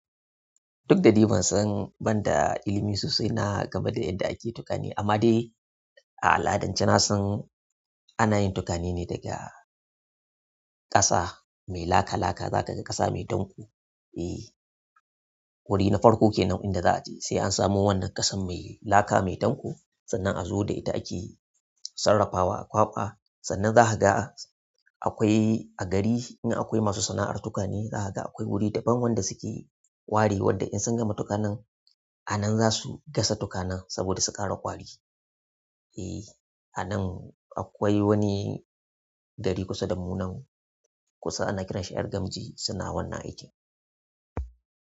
Duk da dai ban san ban da ilimi sosai na game da yadda ake tukane amma dai a al'adance na san ana yin tukane ne daga ƙasa mai laka laka, za ka ga ƙasa mai danƙo. E, wuri na farko kenan inda za a je sai an samu wannan ƙasan mai laka mai danƙo sannan a zo da ita ake sarrafawa a kwaɓa sannan za kaga. Akwai a gari in akwai masu sana'ar tukwane zaka ga akwai wuri daban wanda suke ware wadda in sun gama tukwane a nan zasu gas tukwane domin su ƙara kwari. E, a nan akwai wani ɗari kusa da mu nan kusa ana kiran shi 'yar gamji suna wannan aiki.